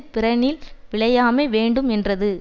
பிறனில் விழையாமை வேண்டும் என்றது